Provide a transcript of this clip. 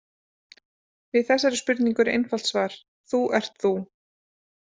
Við þessari spurningu er til einfalt svar: Þú ert þú.